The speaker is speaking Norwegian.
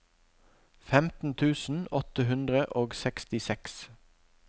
femten tusen åtte hundre og sekstiseks